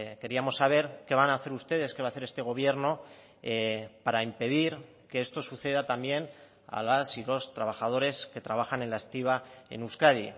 queríamos saber qué van a hacer ustedes qué va a hacer este gobierno para impedir que esto suceda también a las y los trabajadores que trabajan en la estiba en euskadi